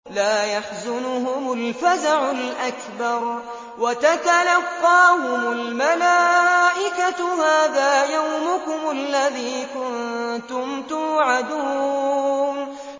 لَا يَحْزُنُهُمُ الْفَزَعُ الْأَكْبَرُ وَتَتَلَقَّاهُمُ الْمَلَائِكَةُ هَٰذَا يَوْمُكُمُ الَّذِي كُنتُمْ تُوعَدُونَ